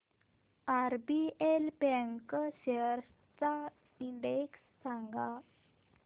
RBL bank shares चा index सांगा